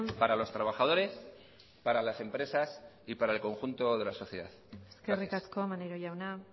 para los trabajadores para las empresas y para el conjunto de la sociedad gracias eskerrik asko maneiro jauna